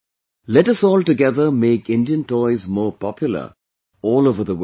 Let us all together make Indian toys more popular all over the world